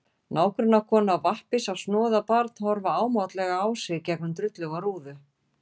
Nágrannakona á vappi sá snoðað barn horfa ámátlega á sig gegnum drulluga rúðu.